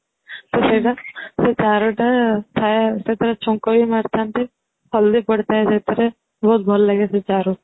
ତ ସେଇଟା ସେଇ ଚାରୁ ଟା ଥାଏ ସେଟା ଛୁଙ୍କ ବି ମାରି ଥାନ୍ତି ହଳଦୀ ପଡି ଥାଏ ସେଇଥିରେ ବହୁତ ଭଲ ଲାଗେ ସେ ଚାରୁ